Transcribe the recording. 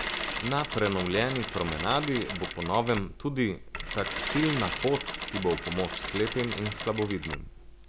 Na prenovljeni promenadi bo po novem tudi taktilna pot, ki bo v pomoč slepim in slabovidnim.